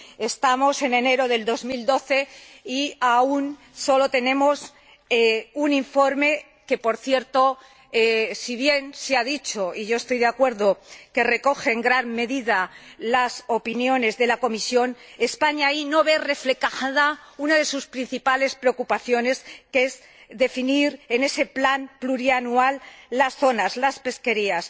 Estamos en enero de 2012 y aún tenemos solo un informe en el que, por cierto, si bien se ha dicho —y yo estoy de acuerdo— que recoge en gran medida las opiniones de la Comisión, España no ve reflejada una de sus principales preocupaciones, que es definir en ese plan plurianual las zonas, las pesquerías.